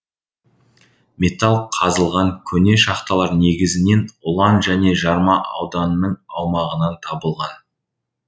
металл қазылған көне шахталар негізінен ұлан және жарма ауданының аумағынан табылған